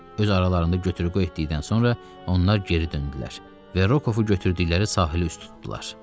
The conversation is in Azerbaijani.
Öz aralarında götür-qoy etdikdən sonra onlar geri döndülər və Rokovu götürdükləri yerdə sahilə üz tutdular.